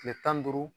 Kile tan ni duuru